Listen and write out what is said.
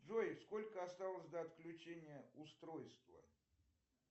джой сколько осталось до отключения устройства